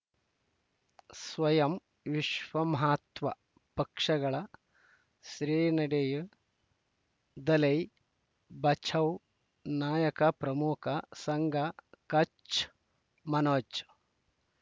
ಸ್ವಯಂ ವಿಶ್ವ ಮಹಾತ್ಮ ಪಕ್ಷಗಳ ಶ್ರೀ ನಡೆಯೂ ದಲೈ ಬಚೌ ನಾಯಕ ಪ್ರಮುಖ ಸಂಘ ಕಚ್ ಮನೋಜ್